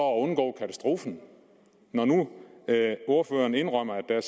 undgå katastrofen når nu ordføreren indrømmer at der